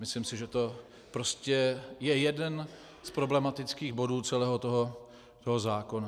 Myslím si, že to prostě je jeden z problematických bodů celého toho zákona.